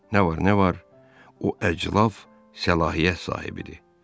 Nə var, nə var, o əclaf səlahiyyət sahibidir.